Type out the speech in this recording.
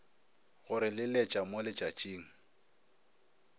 go re leletša mo letšatšing